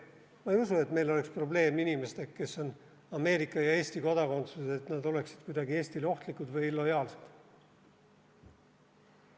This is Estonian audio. Ma ei usu, et meil oleks probleem inimestega, kes on Ameerika ja Eesti kodakondsuses, et nad oleksid kuidagi Eestile ohtlikud või ebalojaalsed.